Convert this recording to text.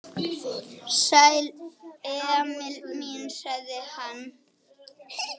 Sæll, Emil minn, sagði hann.